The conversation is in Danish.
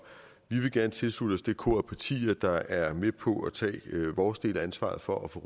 vi vil gerne tilslutte os det kor af partier der er med på at tage vores del af ansvaret for at få